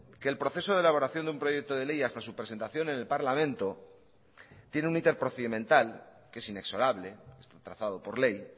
que el proceso de elaboración de un proyecto de ley hasta su presentación en el parlamento tiene un interprocedimental que es inexorable está trazado por ley